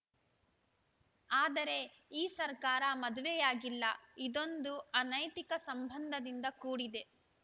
ಆದರೆ ಈ ಸರ್ಕಾರ ಮದುವೆಯಾಗಿಲ್ಲ ಇದೊಂದು ಅನೈತಿಕ ಸಂಬಂಧದಿಂದ ಕೂಡಿದೆ